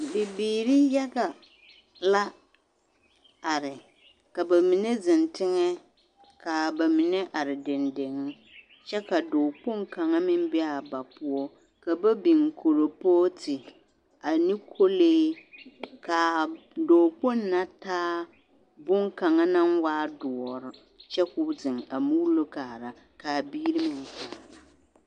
Dɔɔ kaŋ ane bibiiri ane pɔɔbɔ la be a kyɛɛna ka a dɔɔ kaŋ pãã nyɔɡe boma mine taa a pãã zeŋ erɛ ka a bibiiri pãã zeŋ kyɛ pãã bone na naŋ la ka a dɔɔ ka kɔŋkolee kaŋ meŋ pãã biŋ a dɔɔ nimitɔɔreŋ kyɛ ka a dɔɔ pãã zeŋ kyɛ de bone kaŋ eŋ a nuŋ kyɛ pãã erɛ yɛlɛ mine.